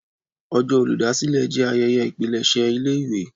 Ọjọ́ Olùdásílẹ̀ jé ayẹyẹ ipilese ilé ìwé